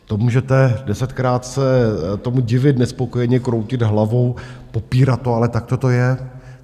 To můžete desetkrát se tomu divit, nespokojeně kroutit hlavou, popírat to, ale takto to je.